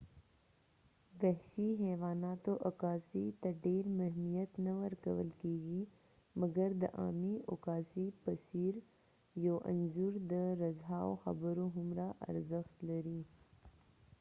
وحشي حیواناتو عکاسۍ ته ډیر مهمیت نه ورکول کېږی ،مګرد عامی عکاسی په څیر ، یو انځور د رزهاو خبرو هومره ارزښت لري